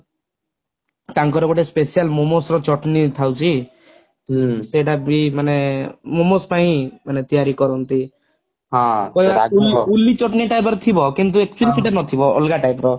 ତାଙ୍କର ଗୋଟେ special momos ର chutney ଥାଉଛି ସେଇଟା ବି ମାନେ momos ପାଇଁ ମାନେ ତିଆରି କରନ୍ତି କହିବାକୁ ଉଲ୍ଲି chutney type ର ଥିବ କିନ୍ତୁ actually ସେଇଟା ନ ଥିବ ଅଲଗା type ର